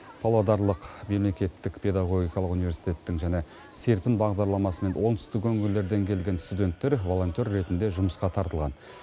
павлодарлық мемлекеттік педагогикалық университеттің және серпін бағдарламасымен оңтүстік өңірлерден келген студенттер волонтер ретінде жұмысқа тартылған